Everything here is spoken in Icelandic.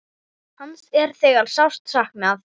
Hans er þegar sárt saknað.